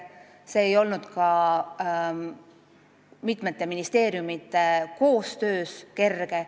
See ei olnud ka mitme ministeeriumi koostöö mõttes kerge.